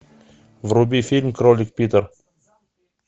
вруби фильм кролик питер